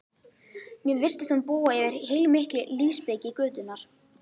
Mér virtist hún búa yfir heilmikilli lífsspeki götunnar